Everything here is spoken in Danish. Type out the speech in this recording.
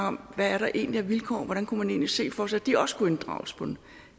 om hvad der egentlig er af vilkår hvordan kunne man egentlig se for sig at de også kunne inddrages på en